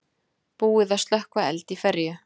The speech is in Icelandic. Búið að slökkva eld í ferju